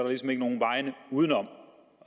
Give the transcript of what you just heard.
ligesom ikke nogen vej uden om